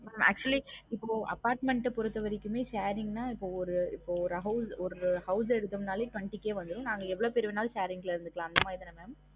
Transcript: mam actually இப்போ apartment ஆஹ் பொருத்த வரைக்குமே sharing நா இப்போ ஒரு இப்போ ஒரு house யடுத்தொம்னாலே twenty K வந்துரும் நாங்க எவ்வளவு பேரு வேணாலும் sharing ல இருந்துக்கிடலாம் அந்த மாதிரிதான mam